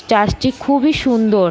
Church টি খুবই সুন্দর।